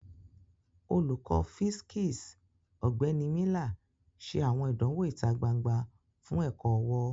Olukọni fisiksi, Ọgbẹni Miller, ṣe awọn idanwo ita gbangba fun ẹkọ-ọwọ.